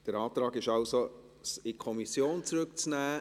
Der Antrag lautet also, es in die Kommission zurückzunehmen.